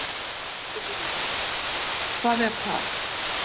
Sigríður: Hvað er það?